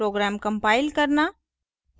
program compile करना